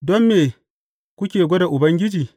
Don me kuke gwada Ubangiji?